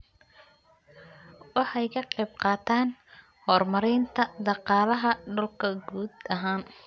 Waxay ka qayb qaataan horumarinta dhaqaalaha dalka guud ahaan.